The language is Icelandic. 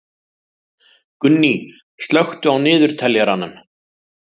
Gunný, slökktu á niðurteljaranum.